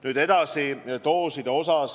Nüüd edasi, doosidest.